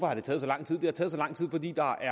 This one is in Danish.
har taget så lang tid det har taget så lang tid fordi der